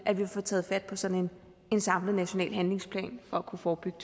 at vi får taget fat på sådan en samlet national handlingsplan for kunne forebygge